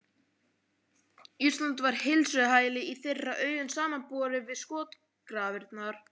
Ísland var heilsuhæli í þeirra augum samanborið við skotgrafirnar.